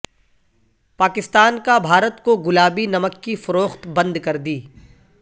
پاکستان کا بھارت کو گلابی نمک کی فروخت بند کردی